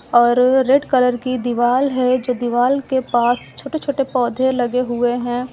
और red colour की दीवाल है जो दीवाल के पास छोटे छोटे पौधे लगे हुए हैं।